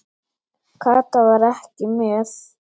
Kata var ekki með.